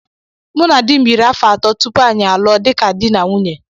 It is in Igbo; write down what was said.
Mụ na di m yiri áfọ̀ atọ tupu anyị alụọ dịka dị na nwunye.